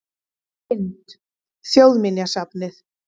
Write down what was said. Mynd: Þjóðminjasafnið